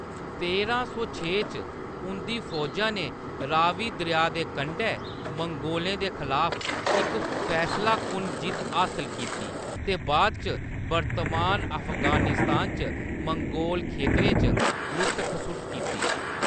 तेरां सौ छे च, उंʼदी फौजा ने रावी दरेआ दे कंढै मंगोलें दे खलाफ इक फैसलाकुन जित्त हासल कीती ते बाद इच वर्तमान अफगानिस्तान च मंगोल खेतरें च लुट्ट-खसुट्ट कीती।